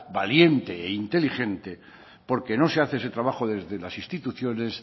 valiente e inteligente porque no se hace ese trabajo desde las instituciones